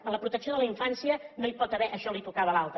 en la protecció de la infància no hi pot haver això això li tocava a l’altre